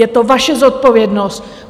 Je to vaše zodpovědnost.